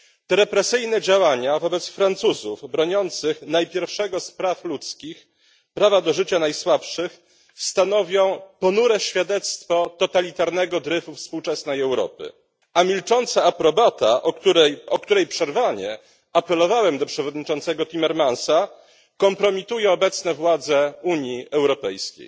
Te represyjne działania wobec Francuzów broniących najpierwszego z praw ludzkich prawa do życia najsłabszych stanowią ponure świadectwo totalitarnego dryfu współczesnej Europy, a milcząca aprobata, o której przerwanie apelowałem do przewodniczącego Timmermansa, kompromituje obecne władze Unii Europejskiej.